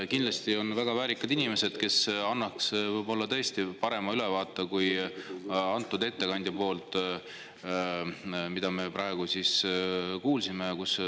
Kindlasti on nad väga väärikad inimesed, kes annaks võib-olla parema ülevaate, kui me ettekandjalt praegu kuulsime.